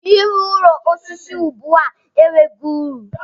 I wu ụlọ osisi ugbua enweghị uru.